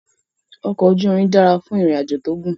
Ọkọ ojú irin dára fún ìrìn àjò tó gùn